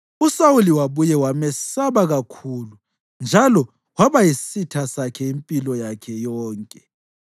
uSawuli wabuye wamesaba kakhulu, njalo waba yisitha sakhe impilo yakhe yonke.